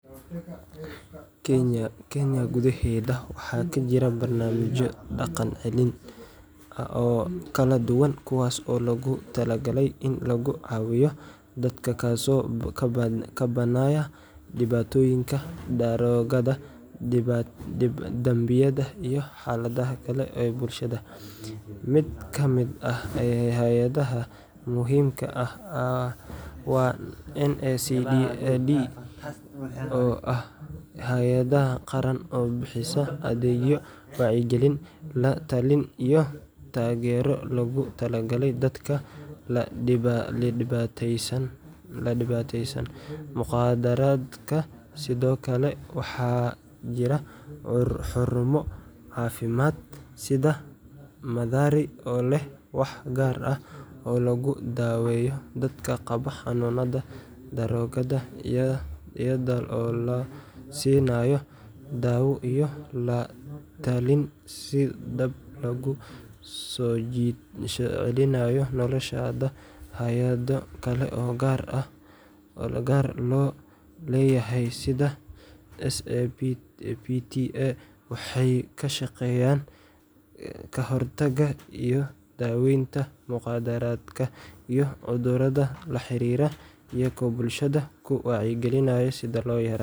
Kenya gudaheeda waxaa ka jira barnaamijyo dhaqan-celin oo kala duwan kuwaas oo loogu talagalay in lagu caawiyo dadka ka soo kabanaya dhibaatooyinka daroogada, dambiyada, iyo xaaladaha kale ee bulshada. Mid ka mid ah hay’adaha muhiimka ah waa NACADA, oo ah hay’ad qaran oo bixisa adeegyo wacyigelin, la-talin, iyo taageero loogu talagalay dadka la dhibaataysan mukhaadaraadka. Sidoo kale waxaa jira xarumo caafimaad sida Mathari oo leh waax gaar ah oo lagu daweeyo dadka qaba xanuunnada daroogada, iyada oo la siinayo dawo iyo la-talin si dib loogu soo celiyo noloshooda. Hay’ado kale oo gaar loo leeyahay sida SAPTA waxay ka shaqeeyaan ka hortagga iyo daaweynta mukhaadaraadka iyo cudurrada la xiriira, iyagoo bulshada ku wacyigelinaya sidii loo yareyn lahaa dhibaatada. Barnaamijka Teen Challenge oo ku saleysan diin ayaa si gaar ah uga shaqeeya dhalinyarada, isagoo ka caawinaya inay helaan xirfado iyo anshax nololeed oo wanaagsan. Barnaamijyadan oo dhan waxay door weyn ka ciyaaraan sidii dadka dhibaataysan loogu caaw.